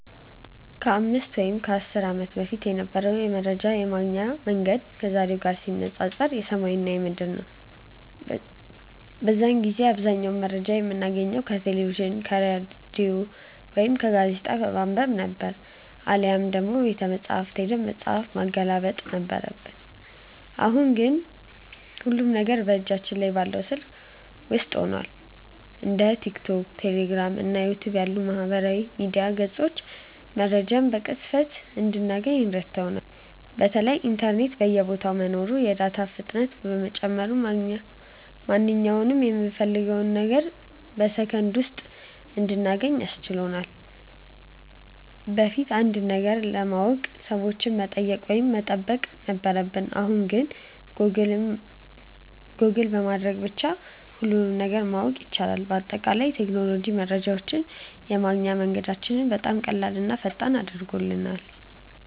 ከ5 ወይም ከ10 ዓመት በፊት የነበረው መረጃ የማግኛ መንገድ ከዛሬው ጋር ሲነፃፀር ሰማይና ምድር ነው። በዚያን ጊዜ አብዛኛውን መረጃ የምናገኘው ከቴሌቪዥን፣ ከሬዲዮ ወይም ጋዜጣ በማንበብ ነበር፤ አሊያም ደግሞ ቤተመጻሕፍት ሄደን መጽሐፍ ማገላበጥ ነበረብን። አሁን ግን ሁሉም ነገር በእጃችን ላይ ባለው ስልክ ውስጥ ሆኗል። እንደ ቲክቶክ፣ ቴሌግራም እና ዩቲዩብ ያሉ የማህበራዊ ሚዲያ ገጾች መረጃን በቅጽበት እንድናገኝ ረድተውናል። በተለይ ኢንተርኔት በየቦታው መኖሩና የዳታ ፍጥነት መጨመሩ ማንኛውንም የምንፈልገውን ነገር በሰከንድ ውስጥ እንድናገኝ አስችሎናል። በፊት አንድን ነገር ለማወቅ ሰዎችን መጠየቅ ወይም መጠበቅ ነበረብን፣ አሁን ግን ጎግል በማድረግ ብቻ ሁሉንም ነገር ማወቅ ይቻላል። በአጠቃላይ ቴክኖሎጂ መረጃን የማግኛ መንገዳችንን በጣም ቀላልና ፈጣን አድርጎታል።